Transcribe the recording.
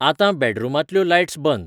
आतांं बॅडरूमांतल्यो लायट्स बंद